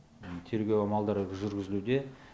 тергеу амалдары жүргізілуде